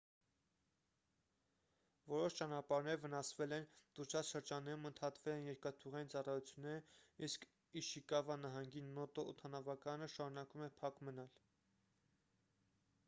որոշ ճանապարհներ վնասվել են տուժած շրջաններում ընդհատվել են երկաթուղային ծառայությունները իսկ իշիկավա նահանգի նոտո օդանավակայանը շարունակում է փակ մնալ